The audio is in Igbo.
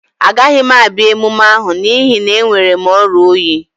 Agaghị m abịa emume ahụ n'ihi na enwere m oria oyi